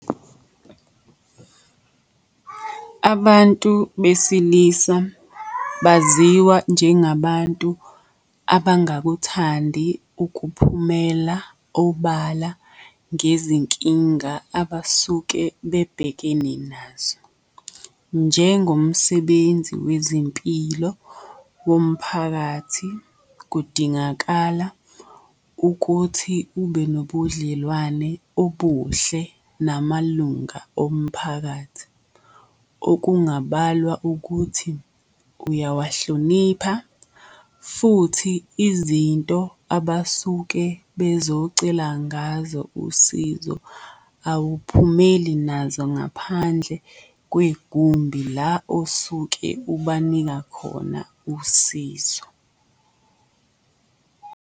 Abantu besilisa baziwa njengabantu abangakuthandi ukuphumela obala ngezinkinga abasuke bebhekene nazo. Njengomsebenzi wezempilo womphakathi kudingakala ukuthi ube nobudlelwane obuhle namalunga omphakathi. Okungabalwa ukuthi uyawahlonipha, futhi izinto abasuke bezocela ngazo usizo awuphumeli nazo ngaphandle kwegumbi la osuke ubanika khona usizo.